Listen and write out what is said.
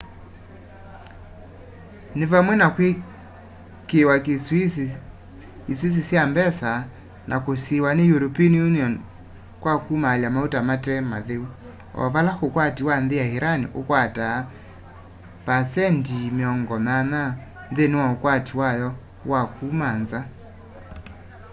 ni vamwe na kwikiiwa isuisi sya mbesa na kusiiwa ni european union kwa kumaalya mauta mate matheu o vala ukwati wa nthi ya iran ukwataa 80% nthini wa ukwati wayo wa kuma nza